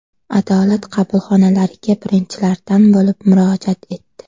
Adolat qabulxonalariga birinchilardan bo‘lib murojaat etdi.